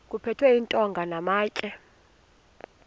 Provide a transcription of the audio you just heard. kuphethwe iintonga namatye